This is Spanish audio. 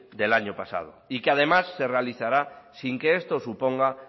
del año pasado y que además se realizará sin que esto suponga